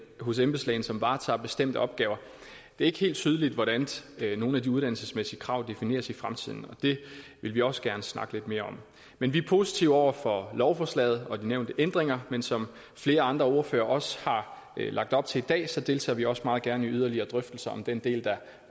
hos embedslægen som varetager bestemte opgaver det er ikke helt tydeligt hvordan nogle af de uddannelsesmæssige krav defineres i fremtiden det vil vi også gerne snakke lidt mere om men vi er positive over for lovforslaget og de nævnte ændringer men som flere andre ordførere også har lagt op til i dag deltager vi også meget gerne i yderligere drøftelser om den del der